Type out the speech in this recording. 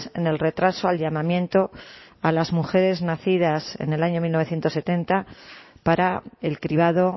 en el retraso al llamamiento a las mujeres nacidas en el año mil novecientos setenta para el cribado